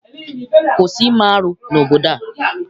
Kwụsị ime arụ n'obodo a!